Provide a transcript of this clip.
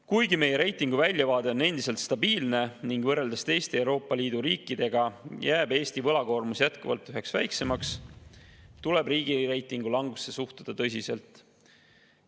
Kuigi meie reitingu väljavaade on endiselt stabiilne ning võrreldes teiste Euroopa Liidu riikidega jääb Eesti võlakoormus jätkuvalt üheks väiksemaks, tuleb riigireitingu langusesse suhtuda tõsiselt.